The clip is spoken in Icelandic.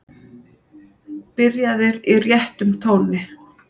Byrjaðir í réttum tóni.